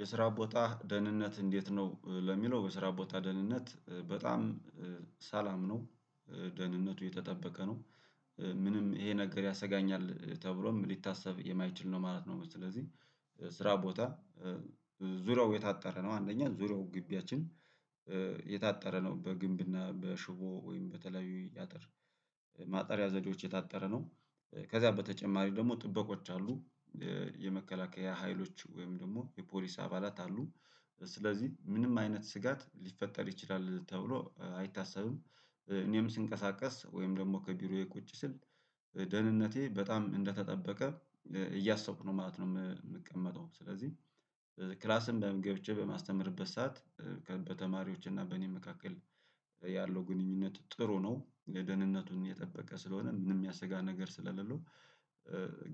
የስራ ቦታ ደህንነት እንዴት ነው? ለሚለው የስራ ቦታ ደህንነት በጣም ሰላም ነው። ደህንነቱ የተጠበቀ ነው። ምንም ይሄ ነገር ያሰጋኛል ተብሎም ሊታሰብ የማይችል ነው ማለት ነው። ስለዚህ ስራ ቦታ ዙሪያው የታጠረ ነው አንደኛ ዙሪያው ግቢያችን የታጠረ ነው። በግንብና በሽቦ ወይም በተለያዩ ያጥር ማጠሪያ ዘዴዎች የታጠረ ነው። ከዛ በተጨማሪም ደግሞ ጥበቆች አሉ የመከላከያ ሀይሎች ወይም ደግሞ የፖሊስ አባላት አሉ። ስለዚህ ምንም አይነት ስጋት ሊፈጠር ይችላል ተብሎ አይታሰብም። እኔም ስንቀሳቀስ ወይም ደግሞ ከቢሮዬ ቁጭ ስል ደህንነቴ በጣም እንደተጠበቀ እያሰብሁ ነው ማለት ነው። የምቀመጠው ስለዚህ ክላስም በምን ገብቼ በማስተምርበት ሰዓት እና በእኔ መካከል ያለው ግንኙነት ጥሩ ነው። ለደህንነቱን የጠበቀ ስለሆነ ምንም ያሰጋ ነገር ስለሌለው